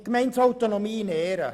Gemeindeautonomie in Ehren!